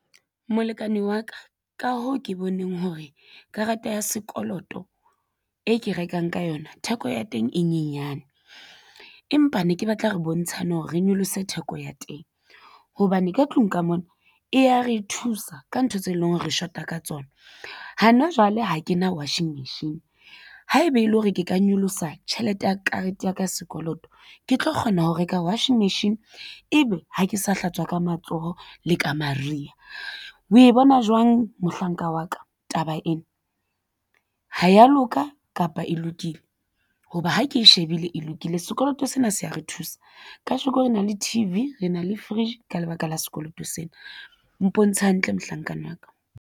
Molekane wa ka, ka hoo ke boneng hore karata ya sekoloto e ke rekang ka yona theko ya teng e nyenyane empa ne ke batla re bontshane hore re nyolose theko ya teng hobane ka tlung ka mona e ya re thusa ka ntho tse leng hore re shota ka tsona. Hana Jwale ha ke na wasing machine haeba e le hore ke ka nyolosa tjhelete ya karete ya ka sekoloto, ke tlo kgona ho reka washing machine ebe ha ke sa hlatswa ka matsoho le ka mariha o e bona jwang mohlankana wa ka taba ena ha ya loka kapa e lokile hoba ha ke e shebile e lokile? Sekoloto sena se ya re thusa kasheko re na le T_V rena le fridge ka lebaka la sekoloto sena mpontshe hantle mohlankana wa ka.